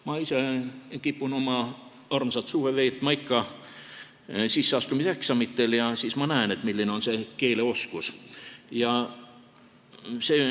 Ma ise kipun oma armsat suve veetma ikka sisseastumiseksamitel ja siis ma näen, milline see keeleoskus on.